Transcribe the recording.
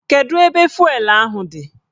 Kedu ebe fụelụ ahụ dị?